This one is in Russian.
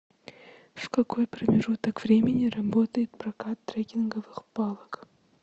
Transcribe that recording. в какой промежуток времени работает прокат трекинговых палок